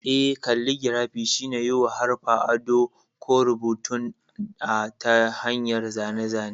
Eh, kalligirafi shine yiwa haruffa ado ko rubutun a ta hanyar zane-zane.